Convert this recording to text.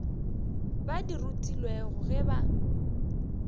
ba di rutilwego ge ba